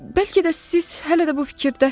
Bəlkə də siz hələ də bu fikirdəsiz.